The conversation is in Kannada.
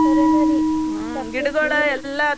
ಖರೇನ ರೀ .